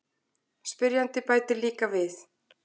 Spyrjandi bætir líka við: